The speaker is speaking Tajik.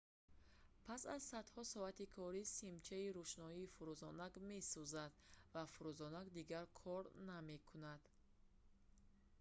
пас аз садҳо соати корӣ симчаи рӯшноӣ фурӯзонак месӯзад ва фурӯзонак дигар кор намекунад